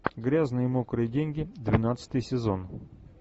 грязные мокрые деньги двенадцатый сезон